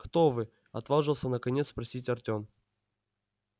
кто вы отважился наконец спросить артём